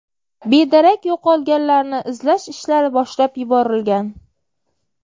Bedarak yo‘qolganlarni izlash ishlari boshlab yuborilgan.